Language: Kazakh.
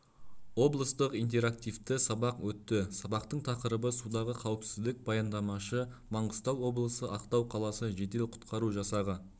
облыстық интерактивті сабақ өтті сабақтың тақырыбы судағы қауіпсіздіқ баяндамашы маңғыстау облысы ақтау қаласы жедел-құтқару жасағы